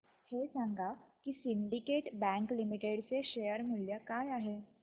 हे सांगा की सिंडीकेट बँक लिमिटेड चे शेअर मूल्य काय आहे